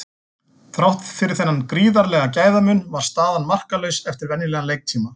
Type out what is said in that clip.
Þrátt fyrir þennan gríðarlega gæðamun var staðan markalaus eftir venjulegan leiktíma.